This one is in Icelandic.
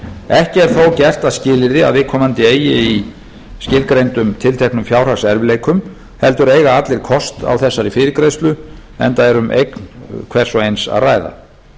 ekki er það þó gert að skilyrði að viðkomandi eigi í skilgreindum tilteknum fjárhagserfiðleikum heldur eiga allir kost á þessari fyrirgreiðslu enda er um eign hvers og eins að ræða